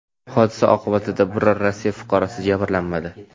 Hodisa oqibatida biror Rossiya fuqarosi jabrlanmadi.